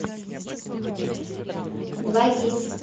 двагис